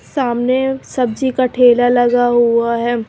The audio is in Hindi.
सामने सब्जी का ठेला लगा हुआ है।